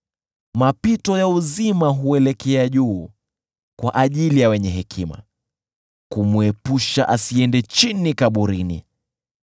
Mapito ya uzima huelekea juu kwa ajili ya wenye hekima kumwepusha asiende chini kaburini.